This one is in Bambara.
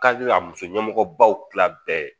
Ka a muso ɲɛmɔgɔbaw kila bɛɛ.